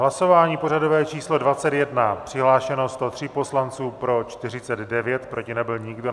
Hlasování pořadové číslo 21, přihlášeno 103 poslanců, pro 49, proti nebyl nikdo.